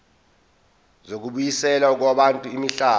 zokubuyiselwa kwabantu imihlaba